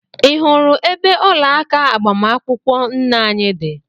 i hụrụ ebe ọlaaka agbamakwụkwọ nne anyị dị?